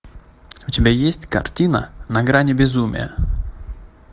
у тебя есть картина на грани безумия